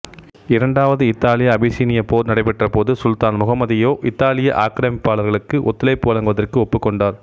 இரண்டாவது இத்தாலியஅபிசீனியப் போர் நடைபெற்ற போது சுல்தான் முகம்மது யையோ இத்தாலிய ஆக்கிரமிப்பாளர்களுக்கு ஒத்துழைப்பு வழங்குவதற்கு ஒப்புக்கொண்டார்